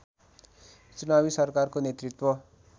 चुनावी सरकारको नेतृत्व